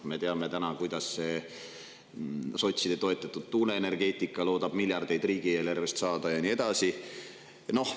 Me teame, kuidas sotside toetatud tuuleenergeetika loodetakse riigieelarvest saada miljardeid eurosid, ja nii edasi.